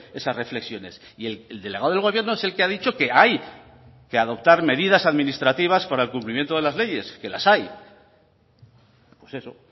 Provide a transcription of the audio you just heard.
esas reflexiones y el delegado del gobierno es el que ha dicho que hay que adoptar medidas administrativas para el cumplimiento de las leyes que las hay pues eso